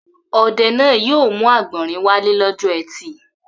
Ọdẹ náà yóò mú àgbọ̀rìn wálé lọ́jọ́ ẹtì.